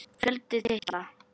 Fjöldi titla